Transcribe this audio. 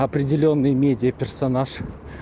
определённый медиа персонаж